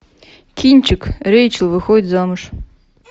кинчик рэйчел выходит замуж